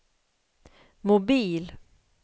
mobil